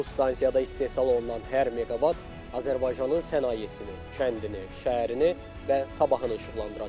Bu stansiyada istehsal olunan hər meqavat Azərbaycanın sənayesini, kəndini, şəhərini və sabahını işıqlandıracaq.